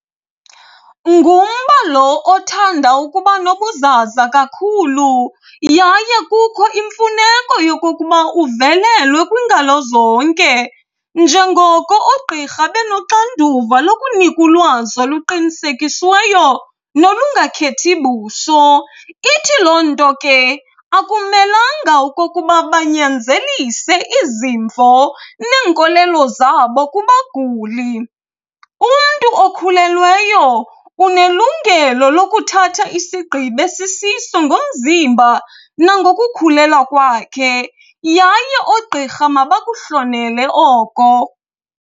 Ngumba lo othanda ukuba nobuzaza kakhulu yaye kukho imfuneko yekokuba uvelelwe kwingalo zonke. Njengoko oogqirha benoxanduva lokunika ulwazi oluqinisekisiweyo nolungakhethi buso. Ithi loo nto ke akumelanga okokuba banyanzelise izimvo neenkolelo zabo kubaguli. Umntu okhulelweyo unelungelo lokuthatha isigqibo esisiso ngomzimba nangokukhulelwa kwakhe, yaye oogqirha mabakuhlonele oko.